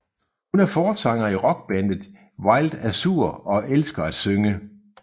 Hun er forsanger i rockbandet Wild Azur og elsker at synge